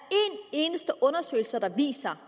eneste undersøgelse der viser